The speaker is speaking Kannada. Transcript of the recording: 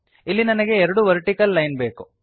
ಇಲ್ಲಿ ನನಗೆ ಎರಡು ವರ್ಟಿಕಲ್ ಲೈನ್ ಬೇಕು